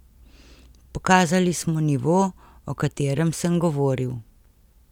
Pokazali smo nivo, o katerem sem govoril.